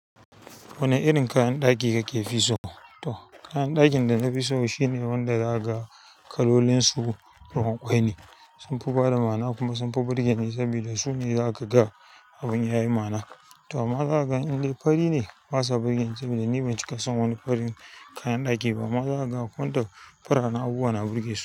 Wani irin kayan ɗaki kafi so? To kayan ɗakin da na fi so shine wanda za a ga kalolin su ruwan ƙwai ne, sunfi bada ma'ana kuma sunfi burge ni saboda su ne za ka ga abun yayi ma'ana. To amma zaka gani dai fari ne basa burge ni saboda ni ban cika san wani farin kayan ɗaki ba. Amma zaka ga akwai waɗanda farare abubuwa na burge su.